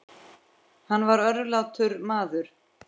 Hann var örlátur maður.